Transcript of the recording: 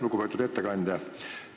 Lugupeetud ettekandja!